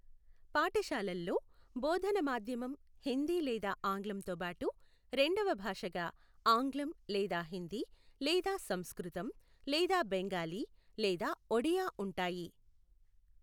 పాఠశాలల్లో బోధన మాధ్యమం హిందీ లేదా ఆంగ్లంతో బాటు రెండవ భాషగా ఆంగ్లం లేదా హిందీ లేదా సంస్కృతం లేదా బెంగాలీ లేదా ఒడియా ఉంటాయి.